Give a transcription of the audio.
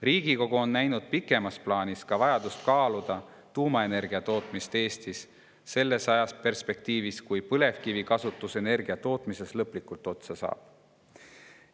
Riigikogu on näinud pikemas plaanis ka vajadust kaaluda tuumaenergia tootmist Eestis selles ajaperspektiivis, kui põlevkivikasutus energiatootmises lõplikult otsa saab.